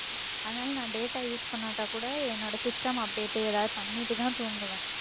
அதனால நான் data use பண்ணாட்டா கூட என்னோட system update ஏதாவது பண்ணிட்டுதான் தூங்குவேன்